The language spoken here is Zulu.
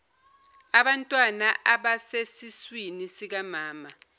abantwana abasesesiswini sikamama